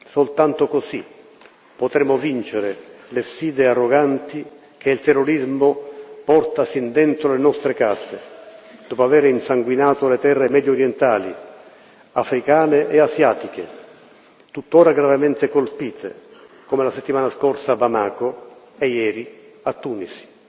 Soltanto così potremo vincere le sfide arroganti che il terrorismo porta sin dentro le nostre case, dopo aver insanguinato le terre mediorientali, africane e asiatiche, tuttora gravemente colpite, come la settimana scorsa a Bamako e ieri a Tunisi.